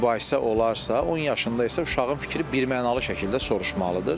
Mübahisə olarsa, 10 yaşında isə uşağın fikri birmənalı şəkildə soruşulmalıdır.